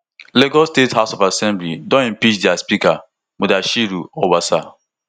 lagos state house of assembly don impeach dia speaker mudashiru obasa